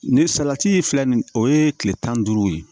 Ni salati filɛ nin o ye kile tan ni duuru ye